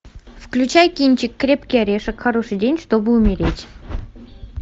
включай кинчик крепкий орешек хороший день чтобы умереть